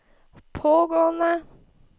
pågående